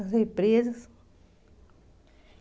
As represas.